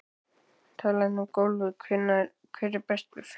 Talandi um golfið hver er bestur?